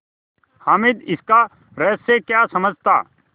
हामिद इसका रहस्य क्या समझता